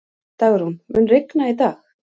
Dagrún, mun rigna í dag?